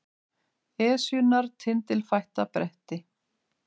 Esjunnar tindilfætta bretti